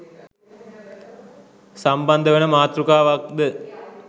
සම්බන්ධ වන මාතෘකාවක්ද